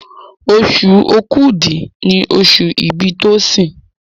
Oṣù Òkúdu ní oṣù ibì Tosin.